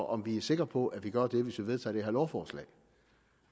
om vi er sikre på at vi gør det hvis vi vedtager det her lovforslag